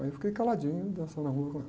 Aí eu fiquei caladinho, dançando a rumba com ela.